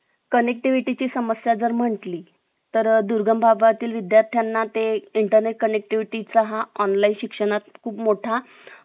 connectivity ची समस्या जर म्हटली तर दुर्गम भागातील विद्यार्थ्यांना ते internet connectivity च हा online शिक्षणात खूप मोठा